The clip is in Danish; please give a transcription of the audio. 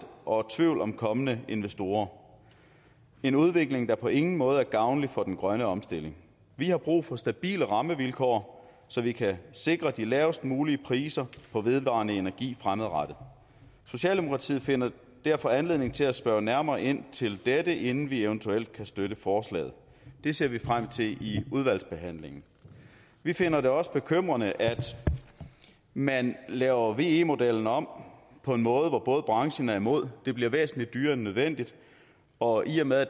og tvivl om kommende investorer en udvikling der på ingen måde er gavnlig for den grønne omstilling vi har brug for stabile rammevilkår så vi kan sikre de lavest mulige priser på vedvarende energi fremadrettet socialdemokratiet finder derfor anledning til at spørge nærmere ind til dette inden vi eventuelt kan støtte forslaget det ser vi frem til i udvalgsbehandlingen vi finder det også bekymrende at man laver ve modellen om på en måde som branchen er imod det bliver væsentligt dyrere end nødvendigt og i og med at